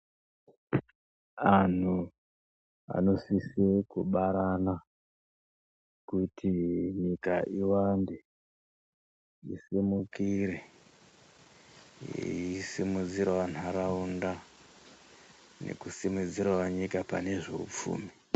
Anhu anosise kubarana, kuti nyika iwande isimukire ,eeisimudzirawo nharaunda nekusimudzira wo nyika pane zveupfumi.